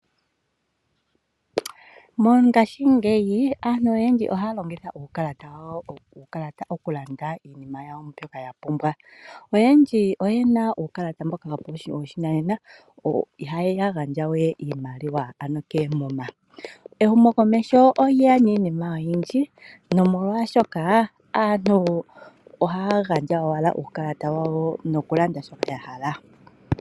Mongaashingeyi aantu oyendji ohaya longitha uukalata wawo, uukalata okulanda iinimayawo mbyoka ya pumbwa. Oyendji oye na uukalata mboka woposhinanena iyaya gandja we iimaliwa ano keemuma. Ehumokomesho olye ya niinima oyindji nomolwashoka aantu ohaya gandja owala uukalata wawo nokulanda shoka ya hala.